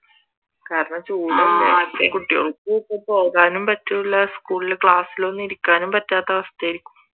കാരണം ചൂടല്ലേ കുട്ടികൾക്ക് ഇപ്പൊ പോകാനും പറ്റൂല്ല സ്‌കൂളിൽ ക്ലാസ്സിലൊന്നും ഇരിക്കാൻ പറ്റാത്ത അവസ്ഥ ആരിക്കും